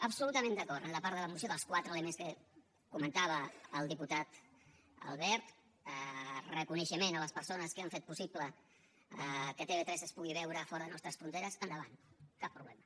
absolutament d’acord en la part de la moció dels quatre elements que comentava el diputat albert reconeixement a les persones que han fet possible que tv3 es pugui veure fora de les nostre fronteres endavant cap problema